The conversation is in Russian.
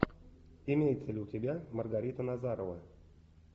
имеется ли у тебя маргарита назарова